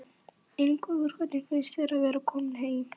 Ingólfur: Hvernig finnst þér að vera kominn heim?